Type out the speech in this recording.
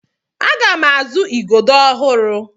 Aga m azụ Igodo ọhụrụ.